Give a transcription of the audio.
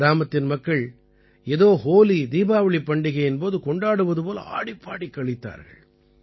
கிராமத்தின் மக்கள் ஏதோ ஹோலிதீபாவளிப் பண்டிகையின் போது கொண்டாடுவது போல ஆடிப்பாடிக் களித்தார்கள்